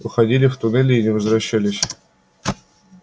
уходили в туннели и не возвращались